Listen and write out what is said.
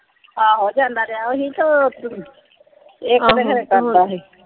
ਆਹੋ ਜਾਂਦਾ ਰਿਹਾ ਸੀ ਤੇ ਇਕ ਤੇ ਫੇਰ ਕਰਦਾ ਸੀ।